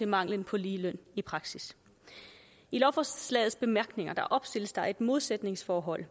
manglen på ligeløn i praksis i lovforslagets bemærkninger opstilles der et modsætningsforhold og